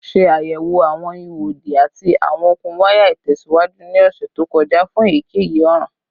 Ṣe ayẹwo awọn iho odi ati awọn okun waya itẹsiwaju ni ọsẹ to kọja fun eyikeyi ọran